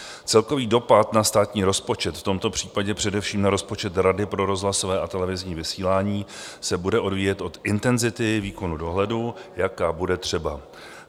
Celkový dopad na státní rozpočet, v tomto případě především na rozpočet Rady pro rozhlasové a televizní vysílání, se bude odvíjet od intenzity výkonu dohledu, jaká bude třeba.